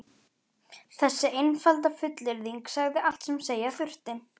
Þessi einfalda fullyrðing sagði allt sem segja þurfti.